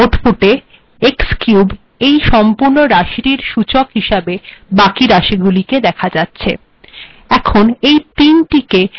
আউটপুটে x cube এই সম্পূর্ণ রািশিটর সূচক হিসাবে এই বািক রাশিগুিল দেখা যাচ্ছে